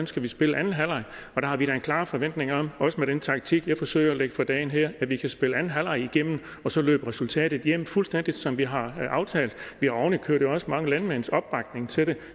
skal spille anden halvleg der har vi da en klar forventning om også med den taktik jeg forsøger at lægge for dagen her at vi kan spille anden halvleg igennem og så løbe resultatet hjem fuldstændig som vi har aftalt vi har oven i købet også mange landmænds opbakning til det